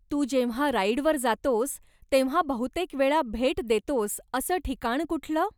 तू जेव्हा राईडवर जातोस तेव्हा बहुतेकवेळा भेट देतोस असं ठिकाण कुठलं?